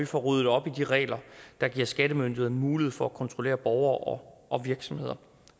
får ryddet op i de regler der giver skattemyndighederne mulighed for at kontrollere borgere og virksomheder